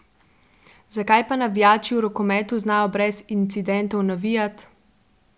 Zakaj pa navijači v rokometu znajo brez incidentov navijat?